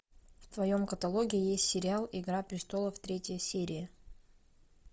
в твоем каталоге есть сериал игра престолов третья серия